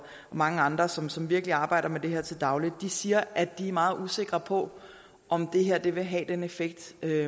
mange andre som som virkelig arbejder med det her til daglig siger at de er meget usikre på om det her vil have den effekt